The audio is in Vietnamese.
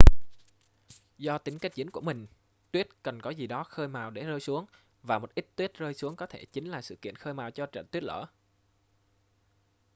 do tính kết dính của mình tuyết cần có gì đó khơi mào để rơi xuống và một ít tuyết rơi xuống có thể chính là sự kiện khơi mào cho trận tuyết lở